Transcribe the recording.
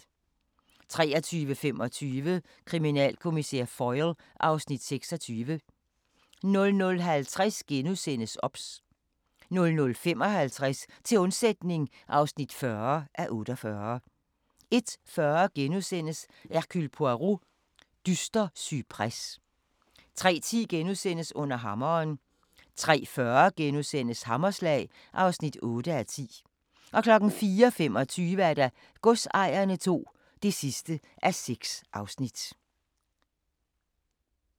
23:25: Kriminalkommissær Foyle (Afs. 26) 00:50: OBS * 00:55: Til undsætning (40:48) 01:40: Hercule Poirot: Dyster cypres * 03:10: Under hammeren * 03:40: Hammerslag (8:10)* 04:25: Godsejerne II (6:6)